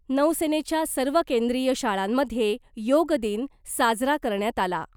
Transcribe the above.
नौसेनेच्या सर्व केंद्रीय शाळांमधे योगदिन साजरा करण्यात आला .